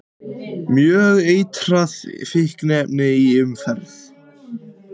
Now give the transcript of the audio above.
Mjög eitrað fíkniefni í umferð